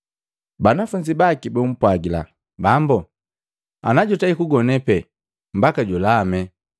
Banafunzi baki bumpwagila, “Bambo, ana jutei kugone pee mbaka julame.”